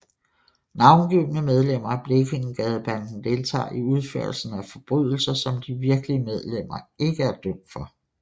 Navngivne medlemmer af Blekingegadebanden deltager i udførelsen af forbrydelser som de virkelige medlemmer ikke er dømt for